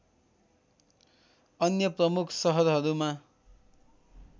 अन्य प्रमुख सहरहरूमा